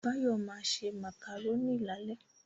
Báyọ̀ ma se Màkàrónì lálẹ́